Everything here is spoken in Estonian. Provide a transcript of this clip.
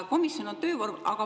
Komisjon on töövorm.